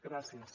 gràcies